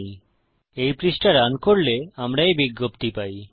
যখন এই পৃষ্ঠা রান করি আমরা এই বিজ্ঞপ্তি পাই